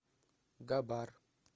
габар